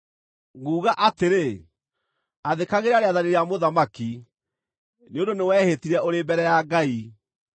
Nguga atĩrĩ, athĩkagĩra rĩathani rĩa mũthamaki, nĩ ũndũ nĩwehĩtire ũrĩ mbere ya Ngai.